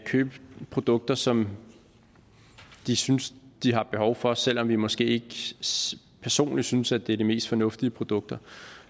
købe produkter som de synes de har behov for selv om vi måske ikke personligt synes at det er de mest fornuftige produkter